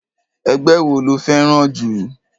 Ẹgbẹ́ wo lo fẹ́ràn jù?